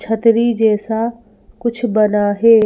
छतरी जैसा कुछ बना है।